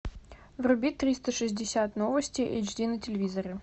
вруби триста шестьдесят новости эйч ди на телевизоре